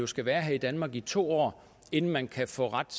skal være her i danmark i to år inden man kan få ret